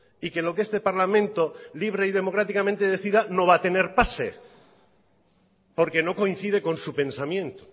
y que lo que este parlamento libre y democráticamente decida no va a tener pase porque no coincide con su pensamiento